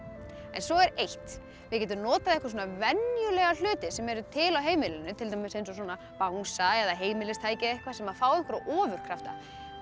svo er eitt þið getið notað ykkur venjulega hluti sem eru til á heimilinu til dæmis eins og svona bangsa eða heimilistæki eða eitthvað sem fá einhverja ofurkrafta